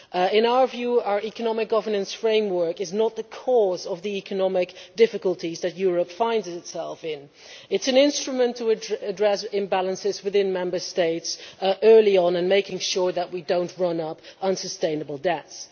In our view our economic governance framework is not the cause of the economic difficulties that Europe finds itself in, it is an instrument for addressing imbalances within Member States early on and making sure that we do not run up unsustainable debts.